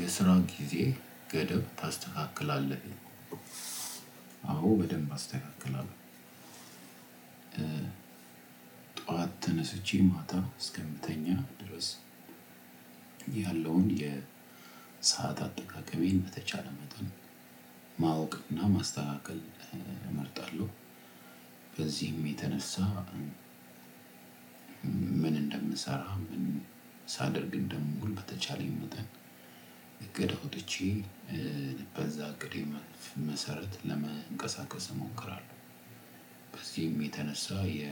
የስራን ጊዜ ገደብ ታስተካክላለህ? አዎ በደንብ አስተካክላለሁ። ጠዋት ተነስቼ ማታ እስከምተኛ ድረስ ያለውን የሰዓት አጠቃቀሜን በተቻለ መጠን ማወቅና ማስተካከል እመርጣለሁ። በዚህም የተነሳ ምን እንደምንሰራ ምን ሳደርግ እንደምዉል በተቻለኝ መጠን እቅድ አውጥቼ በዛ እቅድ መሰረት ለመንቀሳቀስ እሞክራለሁ። በዚህም የተነሳ የ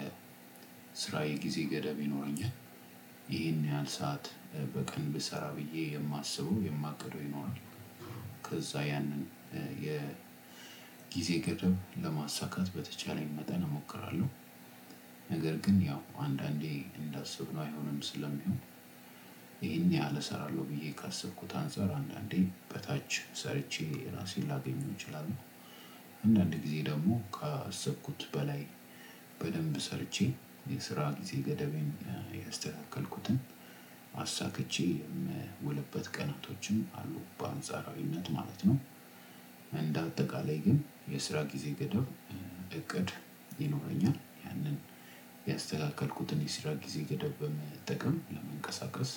ስራዬ ግዜ ገደብ ይኖረኛል። ይሄን ያህል ሰዓት በቀን ብሰራ ብዬ የማስበው የማቅደው ይኖራል። ከዛ ያንን የግዜ ገደብ ለማሳካት በተቻለኝ መጠን እምክራለው። ነገር ግን ያው አንዳንዴ እንዳሰብነው አይሆንም ስለምሆን ይሄን ያህል እሰራለሁ ብዬ ካሰብኩት አንፃር አንዳንዴ በታች ሰርቼ ራሴን ላገኘው እችላለሁ። አንዳንዴ ጊዜ ደግሞ ከ አሰብኩት በላይ በደንብ ሰርቼ የስራ ጊዜ ገደቤን የስተካከልኩትን አሳክቼ የምዉልበት ቀናቶችን አሉ በአንጻራዊነት ማለት ነው። እንደ አጠቃላይ ግን የስራ ጊዜ ገደብ እቅድ ይኖረኛል ያንን ያስተካከልኩትን የስራ ጊዜ ገደብ በመጠቀም ለመንቀሳቀስ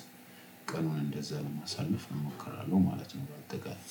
ቀኑን እንደዛ ለማሳለፍ ነው። እሞክራለሁ ማለት ነው። በጠቃላይ